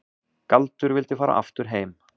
Galdur vildi fara aftur heim.